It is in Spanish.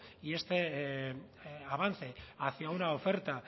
y este avance hacia una oferta